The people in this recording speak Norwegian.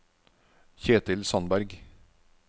Ketil Sandberg